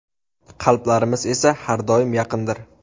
Qalblarimiz esa har doim yaqindir.